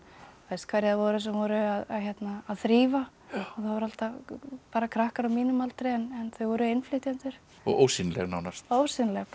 hverjir það voru sem voru að þrífa og það voru alltaf bara krakkar á mínum aldri en þau voru innflytjendur og ósýnileg nánast ósýnileg bara